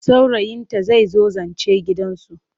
Saurayinta zai zo zance gidansu.